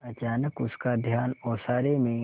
अचानक उसका ध्यान ओसारे में